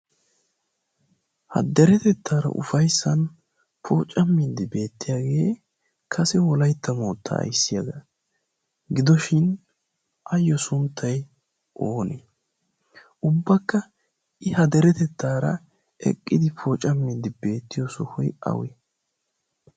ha deretettaara ufayssan poocammindi beettiyaagee kase wolaytta moottaa aissiyaagaa gidoshin ayyo sunttai oonee ubbakka i ha deretettaara eqqidi pooca mindi beettiyo sohoy awee?